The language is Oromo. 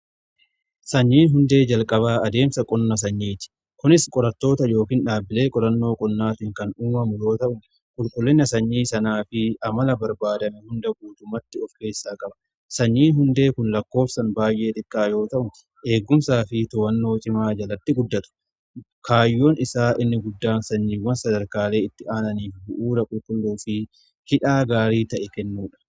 Sanyiin hundee jalqabaa adeemsa qonna sanyiiti. Kunis qorattoota yookiin dhaabbilee qorannoo qonnaatiin kan uumame yoo ta'u, qulqullina sanyii sanaa fi amala barbaadame hunda guutummaatti of keessaa qaba. Sanyiin hundee kun lakkoofsaan baay'ee xiqqaa yoo ta'u, eegumsaa fi to'annoo cimaa jalatti guddatu. Kaayyoun isaa inni guddaan sanyiiwwan sadarkaalee itti aananiif bu'uura qulqulluu fi hidhaa gaarii ta'e kennuudha.